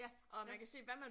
Ja, ja